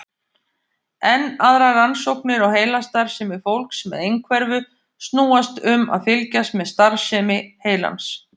Enn aðrar rannsóknir á heilastarfsemi fólks með einhverfu snúast um að fylgjast með starfsemi heilans.